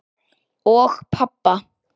Og pabba.